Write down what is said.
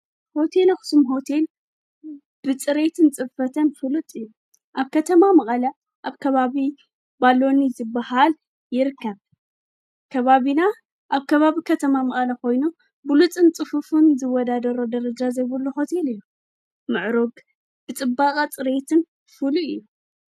ሆቴል ኣኽስም ሆቴል ብጽሬትን ጽፈተን ፍሉጥ እዩ ኣብ ከተማ መቓላ ኣብ ከባብ ባሎኒ ዝበሃል ይርከብ ከባቢና ኣብ ከባቢ ከተማ መቐለ ኾይኑ ብሉጽን ጽፉፉን ዝወዳደሮ ደረጃ ዘይብሉ ሆቴል እዩ ምዕሩግ ብጥበቓ ጽሬየትን ፍሉይ እዩ።